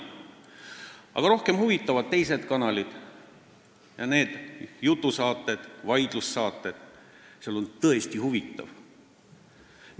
Aga rohkem huvitavad mind teised kanalid ja jutusaated, vaidlussaated, seal on tõesti huvitav.